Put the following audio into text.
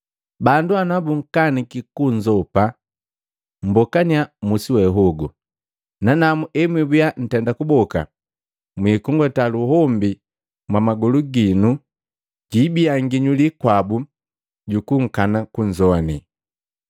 Bandu nabunkaniki kunzopa, mmbokaniya musi we hogu, nanamu emwibia ntenda kuboka mwikung'unda luhombi mwamagolu ginu jibiya nginyuli kwabu jukunkana kunzowane.”